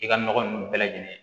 I ka nɔgɔ ninnu bɛɛ lajɛlen